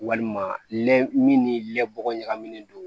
Walima lɛ min ni lɛ bɔ ɲagaminen don